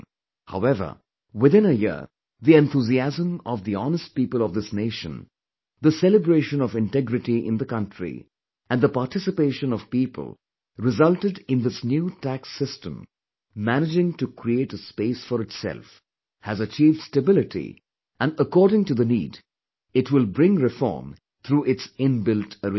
However within a year, the enthusiasm of the honest people of this nation, the celebration of integrity in the country and the participation of people resulted in this new tax system managing to create a space for itself, has achieved stability and according to the need, it will bring reform through its inbuilt arrangement